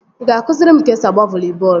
Ị ga-akụziri m ka esi agba voli bọọlụ?